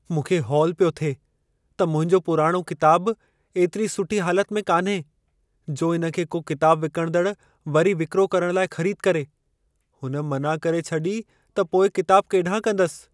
मूंखे हौल पियो थिए त मुंहिंजो पुराणो किताबु एतिरी सुठी हालत में कान्हे, जो इन खे को किताब विकणंदड़ु वरी विक्रो करण लाइ ख़रीदु करे। हुन मना करे छॾी त पोइ किताब केॾाहिं कंदसि।